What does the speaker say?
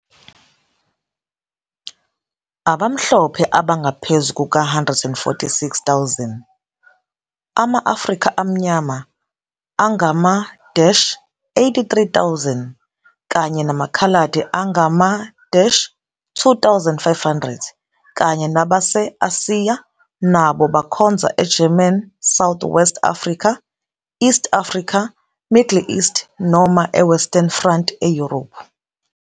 Abamhlophe abangaphezu kuka-146,000, ama-Afrika amnyama angama-83,000 kanye namaKhaladi angama-2 500 kanye nabase-Asiya nabo bakhonza eGerman South-West Africa, East Africa, Middle East, noma eWestern Front eYurophu.